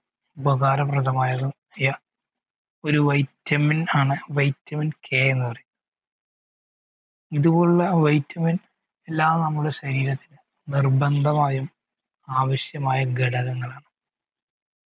ഉപകാരപ്രദമായ ഒരു vitamin ആണ് vitamin K എന്ന് പറയും ഇതുപോലുള്ള vitamin എല്ലാം നമ്മുടെ ശരീരത്തിന് നിർബന്ധമായും ആവിശ്യമായ ഘടകങ്ങളാണ്